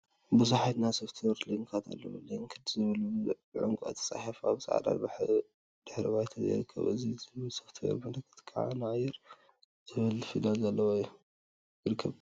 ቡዙሓት ናይ ሶፍት ዌር ሊንካት አለው፡፡ ሊንክድ ዝብል ብዕንቋይ ተፃሒፉ አብ ፃዕዳ ድሕረ ባይታ ይርከብ ኢን ዝብል ናይ ሶፍት ዌር ምልክት ከዓ አር ዝብል ፊደል ዘለዎ ይርከብ፡፡